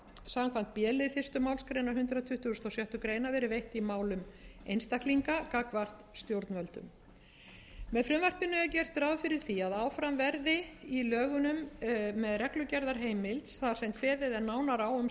samkvæmt b lið fyrstu málsgrein hundrað tuttugasta og sjöttu grein verið veitt í málum einstaklinga gagnvart stjórnvöldum með frumvarpinu er gert ráð fyrir því að áfram verði í lögunum með reglugerðarheimild þar sem kveðið er nánar á um